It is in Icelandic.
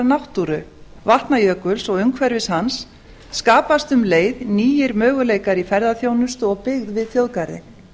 náttúru vatnajökuls og umhverfis hans skapast um leið nýir möguleikar í ferðaþjónustu og byggð við þjóðgarðinn